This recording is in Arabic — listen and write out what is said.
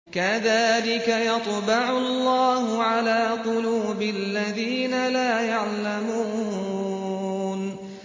كَذَٰلِكَ يَطْبَعُ اللَّهُ عَلَىٰ قُلُوبِ الَّذِينَ لَا يَعْلَمُونَ